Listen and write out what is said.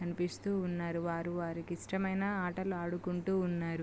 కనిపిస్తు ఉన్నారు వారు వారికీ ఇష్టమైన ఆటలు ఆడుకుంటూ ఉన్నారు.